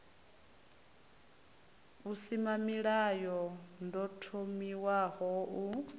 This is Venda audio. v husimamilayo ḓo thomiwaho u